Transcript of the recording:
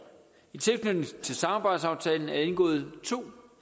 i tilknytning til samarbejdsaftalen er der indgået to